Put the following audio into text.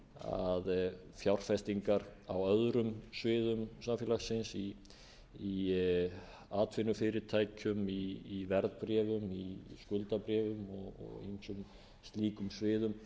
að fjárfestingar á öðrum sviðum samfélagsins í atvinnufyrirtækjum í verðbréfum í skuldabréfum og á ýmsum slíkum sviðum